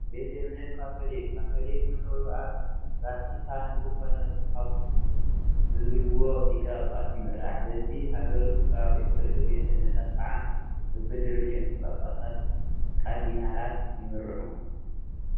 ቤተ እምነት ካቶሊክ-ካቶሊክ መንበሩ ኣብ ቫቲካን ብዝኾነ ፖፕ ብዝብልዎ ሊቀ ጳጳስ ይምራሕ፡፡ በቢ ሃገሩን ከባቢኡን ዘለዉ ቤተ እምነታት ከዓ በብደረጅኦም ብጳጳሳትን ካርዲናላትን ይምርሑ፡፡